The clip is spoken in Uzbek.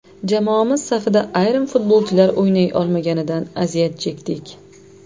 Jamoamiz safida ayrim futbolchilar o‘ynay olmaganidan aziyat chekdik.